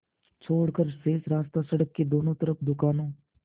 छोड़कर शेष रास्ता सड़क के दोनों तरफ़ दुकानों